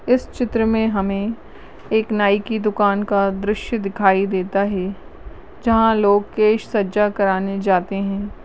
इस चित्र मे हमें एक नाई की दुकान का दृश्य दिखाई देता है जहाँ लोग केश सज्जा कराने जाते हैं।